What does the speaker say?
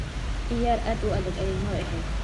Ciyaar aad u adag ayay noo ahayd.